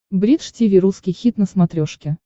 бридж тиви русский хит на смотрешке